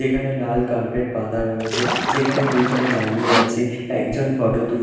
এখানে লাল কার্পেট পাতা রয়েছে যেখানে দুজন দাঁড়িয়ে আছে একজন ফটো তুল--